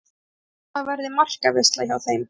Ég held að það verði markaveisla hjá þeim.